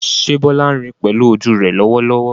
Ṣé Bola ń rí pẹ̀lú ojú rẹ̀ lọ́wọ́lọ́wọ́?